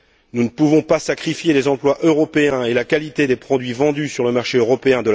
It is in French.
Nous ne pouvons pas de la sorte sacrifier les emplois européens et la qualité des produits vendus sur le marché européen.